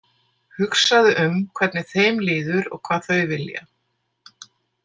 Hugsaðu um hvernig þeim líður og hvað þau vilja.